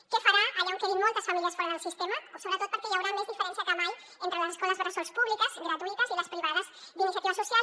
què farà allà on quedin moltes famílies fora del sistema sobretot perquè hi haurà més diferència que mai entre les escoles bressol públiques gratuïtes i les privades d’iniciativa social